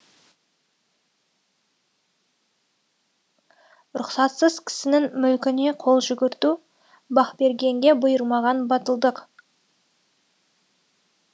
рұқсатсыз кісінің мүлкіне қол жүгірту бақбергенге бұйырмаған батылдық